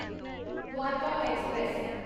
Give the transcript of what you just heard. Dwarka express